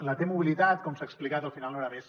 la t mobilitat com s’ha explicat al final no era més